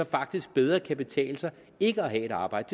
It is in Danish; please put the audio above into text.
faktisk bedre kan betale sig ikke at have et arbejde